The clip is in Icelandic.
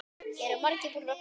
Eru margir búnir að koma?